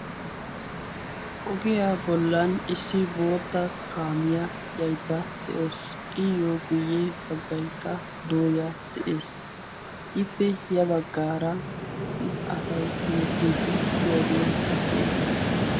ogiyaa bollan issi boota kaamiya yaydda de'oos iyyo guyye baggaykka dooya de'ees ippe ya baggaara issi asay hemettiiddi tiyaagee de'ees